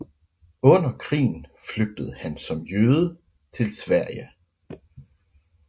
Under krigen flygtede han som jøde til Sverige